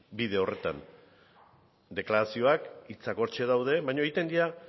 bide horretan deklarazioak hitzak hortxe daude baino egiten dira